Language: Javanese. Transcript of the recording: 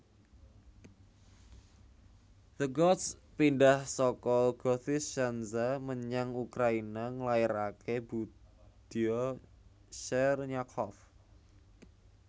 The Goths pindhah saka Gothiscandza menyang Ukraina nglairaké budya Chernyakhov